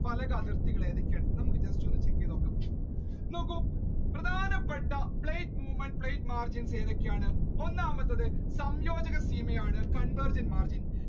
നോക്കൂ പ്രധാനപ്പെട്ട plate movement, plate margins ഏതൊക്കെയാണ് ഒന്നാമത് സംയോജന convergent margin